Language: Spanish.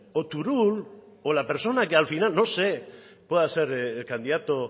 o turull o la persona que al final no sé pueda ser el candidato